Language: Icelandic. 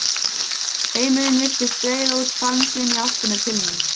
Heimurinn virtist breiða út faðm sinn í áttina til mín.